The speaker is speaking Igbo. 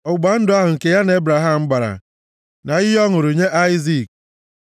ọgbụgba ndụ ahụ nke ya na Ebraham gbara na iyi ọ ṅụrụ nye Aịzik.